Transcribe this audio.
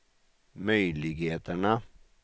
möjligheterna